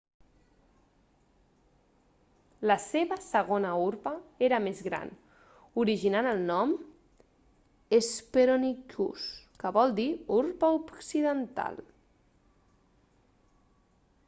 la seva segona urpa era més gran originant el nom hesperonychus que vol dir urpa occidental